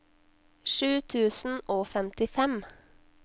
sju tusen og femtifem